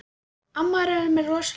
Amma er með alveg rosalegan mat.